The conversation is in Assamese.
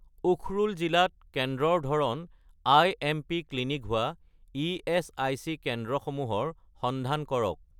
উখৰুল জিলাত কেন্দ্ৰৰ ধৰণ আই.এম.পি. ক্লিনিক হোৱা ইএচআইচি কেন্দ্ৰসমূহৰ সন্ধান কৰক